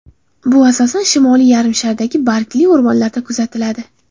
Bu asosan Shimoliy yarimshardagi bargli o‘rmonlarda kuzatiladi.